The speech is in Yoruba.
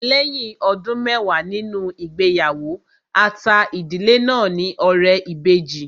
Lẹ́yìn ọdún mẹwàá nínú ìgbéyàwó, a ta ìdílé náà ní ọrẹ ìbejì